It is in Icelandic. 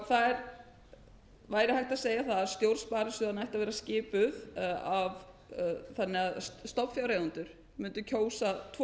það væri hægt að segja það að stjórn sparisjóðanna ætti að vera skipuð af þannig að stofnfjáreigendur mundu tvo